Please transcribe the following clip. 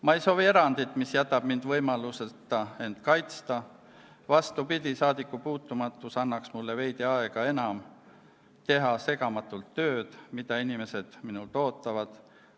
Ma ei soovi erandit, mis jätab mind võimaluseta end kaitsta, vastupidi, aga saadikupuutumatus annaks mulle veidi enam aega teha segamatult tööd, mida inimesed minult ootavad.